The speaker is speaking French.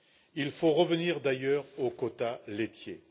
Il faut revenir d'ailleurs aux quotas laitiers.